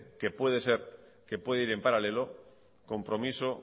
que puede ir en paralelo compromiso